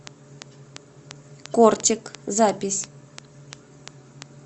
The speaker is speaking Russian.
кортик запись